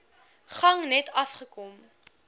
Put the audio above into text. gang net afgekom